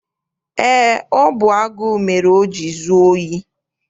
Eé, ọ bụ agụụ mere o jiri zuo ohi.